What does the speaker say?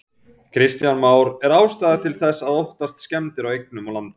Kristján Már: Er ástæða til þess að óttast skemmdir á eignum og landi?